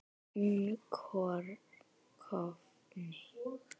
hún rofni